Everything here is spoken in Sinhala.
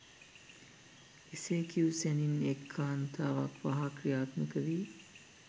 එසේ කියූ සැණින් එක් කාන්තාවක් වහා ක්‍රියාත්මක වී